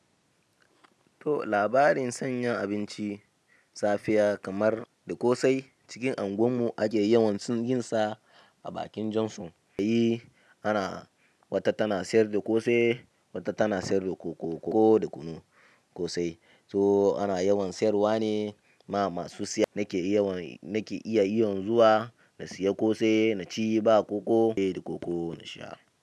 To labarin sanyin abinci safiya kamar da ƙosai cikin anguwan mu ake yawan yin sa a bakin jan sun, ana wata tana sayar da ƙosai, wata tana sayar da koko, ko da kunu ƙosai. To ana yawan sayarwa ne, ma masu siya nake iya zuwa na siya ƙosai na ci ba koko na sha.